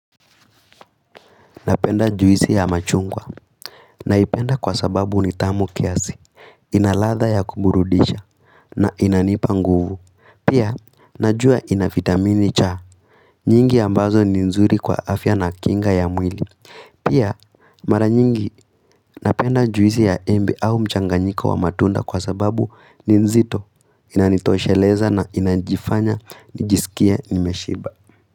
Napenda juisi ya machungwa naipenda kwa sababu ni tamu kiasi, ina ladha ya kuburudisha na inanipa nguvu. Pia, najua ina vitamini cha. Nyingi ambazo ni nzuri kwa afya na kinga ya mwili. Pia, mara nyingi napenda juisi ya embe au mchanganyiko wa matunda kwa sababu ni nzito inanitosheleza na inajifanya nijisikie nimeshiba.